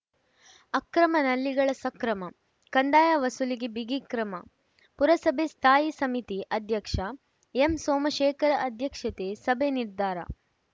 ಅಕ್ರಮ ನಲ್ಲಿಗಳ ಸಕ್ರಮ ಕಂದಾಯ ವಸೂಲಿಗೆ ಬಿಗಿ ಕ್ರಮ ಪುರಸಭೆ ಸ್ಥಾಯಿ ಸಮಿತಿ ಅಧ್ಯಕ್ಷ ಎಂಸೋಮಶೇಖರ್‌ ಅಧ್ಯಕ್ಷತೆ ಸಭೆ ನಿರ್ಧಾರ